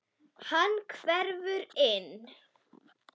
Hann hverfur inn.